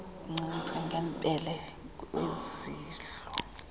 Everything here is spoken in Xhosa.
ukuncancisa ngebele kwizehlo